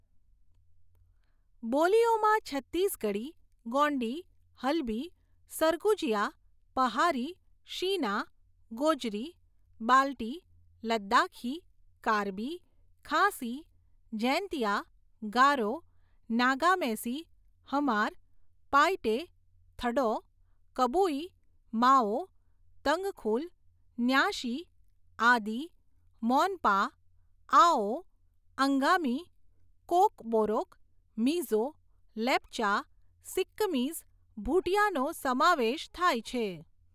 બોલીઓમાં છત્તીસગઢી, ગોંડી, હલબી, સરગુજિયા, પહારી, શીના, ગોજરી, બાલ્ટી, લદ્દાખી, કાર્બી, ખાસી, જૈનતિયા, ગારો, નાગામેસી, હમાર, પાઈટે, થડૌ, કબુઈ, માઓ, તંગખુલ, ન્યાશી, આદિ, મોનપા, આઓ, અંગામી, કોકબોરોક, મિઝો, લેપ્ચા, સિક્કિમીઝ ભુટિયાનો સમાવેશ થાય છે.